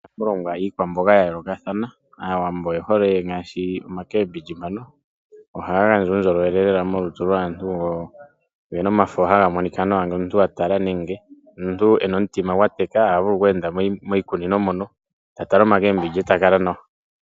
Iikwamboga ya yoolokathana, Aawambo oye hole ngaashi omboga ndjoka hayi ithanwa ekaembindji. Ohaga gandja uundjolowele lela molutu lwaantu. Ogena omafo haga monika nawa, ngele omuntu wa tala nenge omuntu e na omutima gwateka ta tala kmakembindji e ta kala nawa.